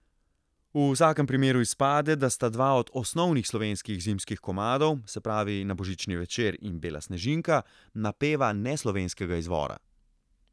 V vsakem primeru izpade, da sta dva od osnovnih slovenskih zimskih komadov, se pravi Na božični večer in Bela snežinka, napeva neslovenskega izvora.